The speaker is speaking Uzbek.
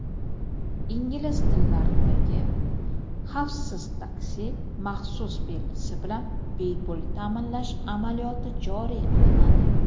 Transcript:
ingliz tillaridagi) "xavfsiz taksi" maxsus belgisi bilan bepul ta’minlash amaliyoti joriy qilinadi.